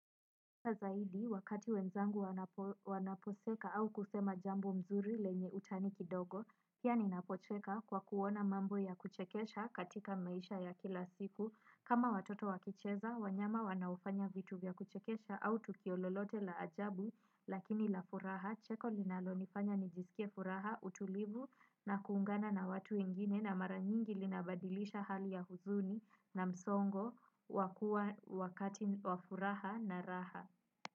Wazaidi, wakati wenzangu wanaposeka au kusema jambo mzuri lenye utani kidogo, pia ninapocheka kwa kuona mambo ya kuchekesha katika maisha ya kila siku. Kama watoto wakicheza, wanyama wanaofanya vitu vya kuchekesha au tukio lolote la ajabu, lakini la furaha, cheko linalonifanya nijisikie furaha, utulivu na kuungana na watu wengine na maranyingi linabadilisha hali ya huzuni na msongo wakati wa furaha na raha.